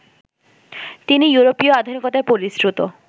তিনি ইয়োরোপীয় আধুনিকতায় পরিশ্রুত